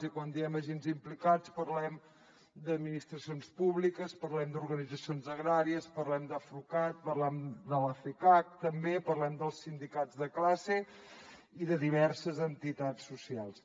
i quan diem agents implicats parlem d’administracions públiques parlem d’organitzacions agràries parlem d’afrucat parlem de la fcac també parlem dels sindicats de classe i de diverses entitats socials